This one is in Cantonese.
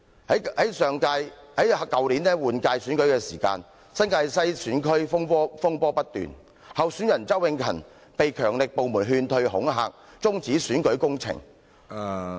在去年立法會換屆選舉時，新界西選區風波不斷，候選人周永勤被強力部門勸退、恐嚇，中止選舉工程......